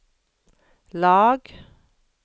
lag